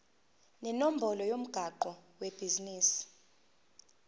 nenombolo yomgwaqo webhizinisi